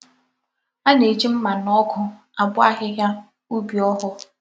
A na-eji mma na ogu abo ahihia ubi ogho.